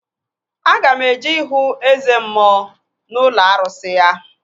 Aga m eje ihu Eze mmụọ n'ụlọ arụsị ya